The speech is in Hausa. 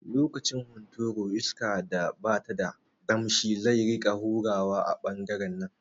Lokacin hunturu iska da bata da damshi zai rika hurawa a ɓangaren nan